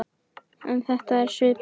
Er þetta svipuð